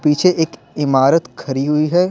पीछे एक इमारत खरी हुई है।